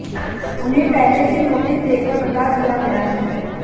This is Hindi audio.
उन्हें पहले से नोटिस देकर बता दिया गया है